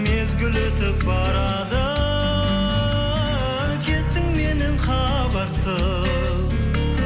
мезгіл өтіп барады кеттің менен хабарсыз